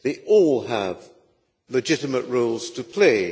They all have legitimate roles to play